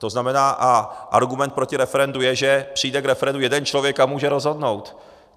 To znamená, a argument proti referendu je, že přijde k referendu jeden člověk a může rozhodnout.